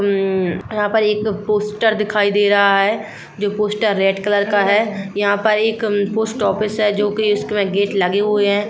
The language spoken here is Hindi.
उम यहाँ पर एक पोस्टर दिखाई दे रहा है जो पोस्टर रेड कलर का है यहाँ पर एक पोस्ट ऑफिस है जो की इसमे गेट लगे हुए हैं।